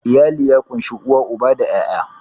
Iyali ya ƙunshi uwa, uba da 'ya'ya.